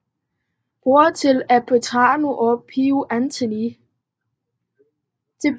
Bror til Petranilla og prior Anthony